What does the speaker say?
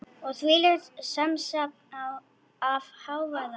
Og þvílíkt samsafn af hávaða.